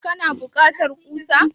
kana bukata kusa?